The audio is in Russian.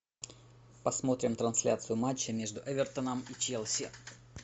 посмотрим трансляцию матча между эвертоном и челси